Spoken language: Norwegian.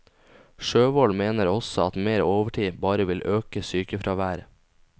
Sjøvoll mener også at mer overtid bare vil øke sykefraværet.